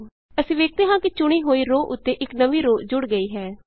ਅਸੀਂ ਵੇਖਦੇ ਹਾਂ ਕਿ ਚੁਣੀ ਗਈ ਰੋਅ ਉੱਤੇ ਇਕ ਨਵੀਂ ਰੋਅ ਜੁੜ ਗਈ ਹੈ